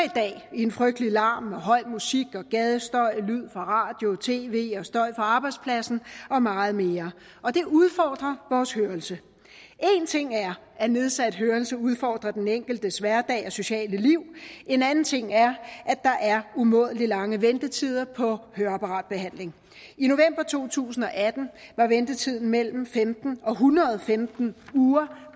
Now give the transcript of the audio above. i en frygtelig larm med høj musik og gadestøj og lyd fra radio tv og støj fra arbejdspladsen og meget mere og det udfordrer vores hørelse en ting er at nedsat hørelse udfordrer den enkeltes hverdag og sociale liv en anden ting er at der er umådelig lange ventetider på høreapparatbehandling i november to tusind og atten var ventetiden mellem femten og en hundrede og femten uger